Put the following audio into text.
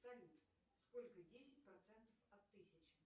салют сколько десять процентов от тысячи